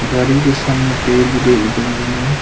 गाड़ी के सामने पेड़ भी देखने को मिल रहा है।